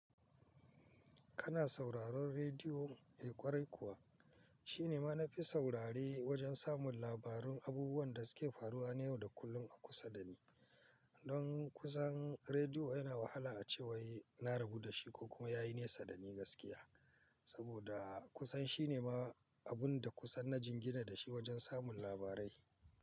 Kana sauraron rediyo, eh ƙwarai kuwa. Shi ne ma na fi saurare wajen samun labarun abubuwan da suke faruwa na yau da kullum a kusa da ni. Don kusan rediyo yana wahala a ce wai na rabu da shi ko kuma ya yi nesa da ni gaskiya. Saboda kusan shi ne ma abun da kusan na jingina da shi wajen samun labarai.